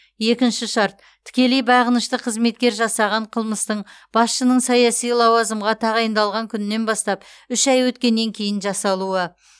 екінші шарт тікелей бағынышты қызметкер жасаған қылмыстың басшының саяси лауазымға тағайындалған күнінен бастап үш ай өткеннен кейін жасалуы